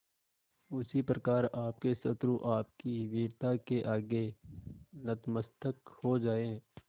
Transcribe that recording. उसी प्रकार आपके शत्रु आपकी वीरता के आगे नतमस्तक हो जाएं